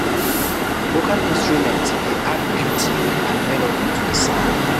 Local instruments de add beauty and melody to the sound